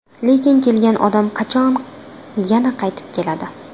Lekin kelgan odam qachon yana qaytib keladi?